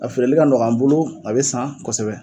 A feereli ka nɔgɔ an bolo a be san kosɛbɛ